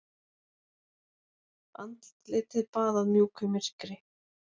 Andlitið baðað mjúku myrkri.